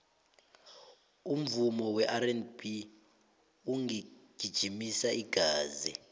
umvumo werb ungijimisa igazi